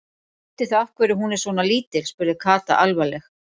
Vitið þið af hverju hún er svona lítil? spurði Kata alvarleg.